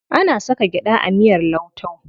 Ana saka gyaɗa a miyar lauto.